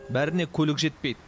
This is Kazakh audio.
бәріне көлік жетпейді